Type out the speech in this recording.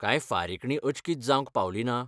कांय फारीकणी अचकीत जावंक पावली ना?